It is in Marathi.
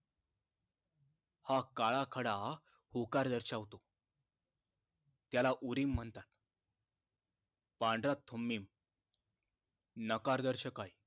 हा काळा खडा होकार दर्शावतो त्याला ओरिम म्हणतात पांढरा थुम्मिम नकार दर्शक आहे